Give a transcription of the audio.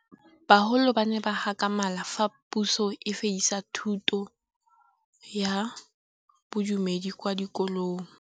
Bagolo ba ne ba gakgamala fa Pusô e fedisa thutô ya Bodumedi kwa dikolong.